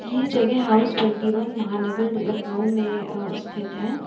ये जगह house twenty one Mahanagar Lucknow में अ स्थित है।